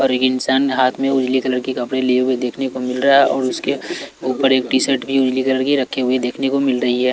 और यह इंसान हाथ में उजली कलर की कपड़े लिए हुए देखने को मिल रहा है और उसके ऊपर एक टी शर्ट उजली कलर की रखे हुए देखने को मिल रही हैं।